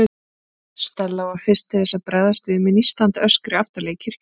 Stella var fyrst til að bregðast við, með nístandi öskri aftarlega í kirkjunni.